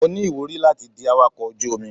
Mo ní ìwúrí láti di awakọ́ ọkọ̀ ojú omi.